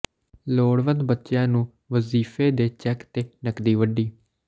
ਲੋੜਵੰਦ ਬੱਚਿਆਂ ਨੂੰ ਵਜ਼ੀਫ਼ੇ ਦੇ ਚੈੱਕ ਤੇ ਨਕਦੀ ਵੰਡੀ